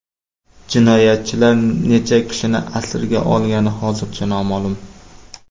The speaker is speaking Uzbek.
Jinoyatchilar necha kishini asirga olgani hozircha noma’lum.